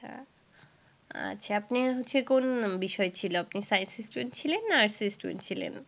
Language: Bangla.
আচ্ছা আপনার হচ্ছে কোন বিষয় ছিল, আপনি science এর student ছিলেন না arts এর student ছিলেন?